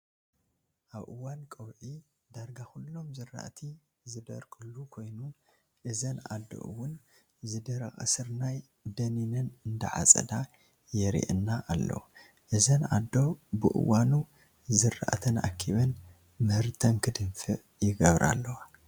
ኣብ እዋን ቆብፂ ዳጋ ኩሎም ዝራእቲ ዝደረቁሉ ኮይኑ እዘን ኣዶ እንውን ዝደረቀ ስርናይ ደኒነን እንዳዓፀዳ የሪኣና ኣሎ እዘን ኣዶ ብእዋኑ ዝራእተን ኣክቢን ምህርተን ክድንፍዕ ይገብራ ኣለዋ።